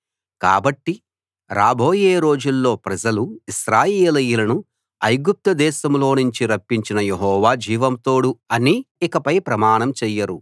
కాబట్టి రాబోయే రోజుల్లో ప్రజలు ఇశ్రాయేలీయులను ఐగుప్తు దేశంలో నుంచి రప్పించిన యెహోవా జీవం తోడు అని ఇకపై ప్రమాణం చెయ్యరు